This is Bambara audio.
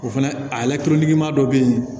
O fɛnɛ a lakanali ma dɔ bɛ yen